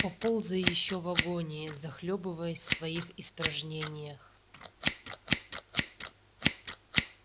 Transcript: поползай ещё в агонии захлёбываясь в своих испражнениях